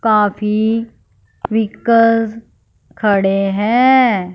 काफी व्हीकल्स खड़े हैं।